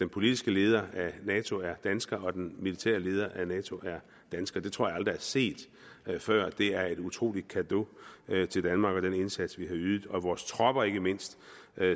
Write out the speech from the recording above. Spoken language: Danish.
politiske leder af nato er dansker og den militære leder af nato er dansker det tror jeg aldrig er set før det er et utrolig cadeau til danmark og den indsats vi har ydet og vores tropper ikke mindst